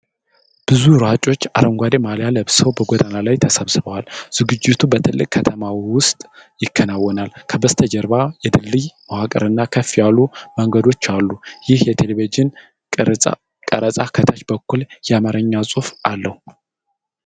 ብዙ ሯጮች አረንጓዴ ማልያ ለብሰው በጎዳና ላይ ተሰባስበዋል። ዝግጅቱ በትልቅ ከተማ ውስጥ ይከናወናል. ከበስተጀርባ የድልድይ መዋቅርና ከፍ ያሉ መንገዶች አሉ። ይህ የቴሌቪዥን ቀረጻ ከታች በኩል የአማርኛ ጽሑፍ አለው።